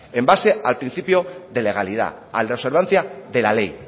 en base al principio de legalidad al de observancia de la ley